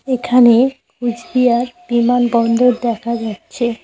এখানে কোচবিহার বিমান বন্দর দেখা যাচ্ছে।